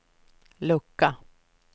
lucka